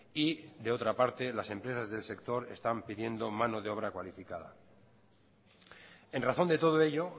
y de otra parte las empresas del sector están pidiendo mano de obra cualificada en razón de todo ello